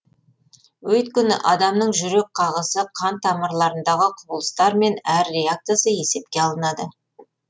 өйткені адамның жүрек қағысы қан тамырларындағы құбылыстар мен әр реакциясы есепке алынады